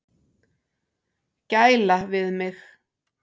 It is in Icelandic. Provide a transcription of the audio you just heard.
Gæla við mig.